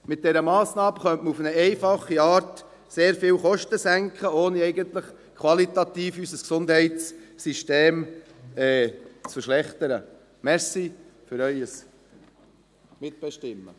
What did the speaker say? Mit dieser Massnahme könnte man auf eine einfache Art sehr viele Kosten senken, ohne unser Gesundheitssystem qualitativ zu verschlechtern.